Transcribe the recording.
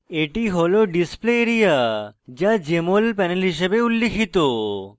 এটি হল display area যা jmol panel হিসাবে উল্লিখিত